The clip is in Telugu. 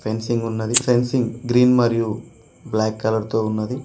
పెన్సింగ్ ఉన్నది ఫెన్సింగ్ గ్రీన్ మరియు బ్లాక్ కలర్ తో ఉన్నది.